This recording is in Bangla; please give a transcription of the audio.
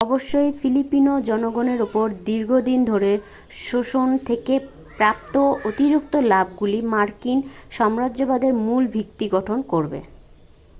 অবশ্যই ফিলিপিনো জনগণের ওপর দীর্ঘদিন ধরে শোষণ থেকে প্রাপ্ত অতিরিক্ত লাভগুলি মার্কিন সাম্রাজ্যবাদের মূল ভিত্তি গঠন করবে